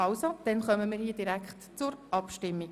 Somit kommen wir direkt zur Abstimmung.